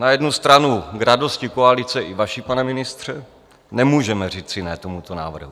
Na jednu stranu k radosti koalice i vaší, pane ministře, nemůžeme říci ne tomuto návrhu.